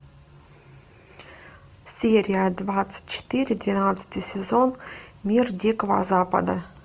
серия двадцать четыре двенадцатый сезон мир дикого запада